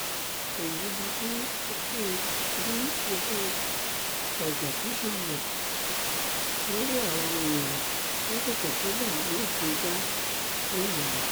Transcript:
èyí ni bí ikú bí ikú ọjọ́kí ṣe yẹ̀ lórí àwọn èèyàn lásìkò tí báàlúù kan jà ńìlọrin